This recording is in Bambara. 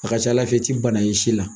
A ka c'Ala fɛ i ti bana y'i si la.